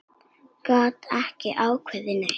Gat ekki ákveðið neitt.